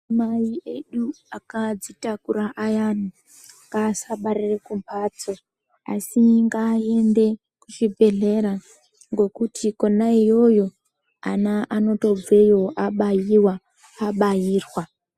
Madzimai edu akadzitakura ayani ngaasabarire kumbatso asi ngaaende kuzvibhedhlera ngekuti kwona iyoyo ana anotobveyo abaiwa abairwa.